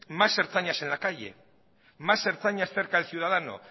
más ertzainas en la calle más ertzainas cerca del ciudadano